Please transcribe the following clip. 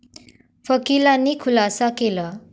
वकिलांनी खुलासा केला.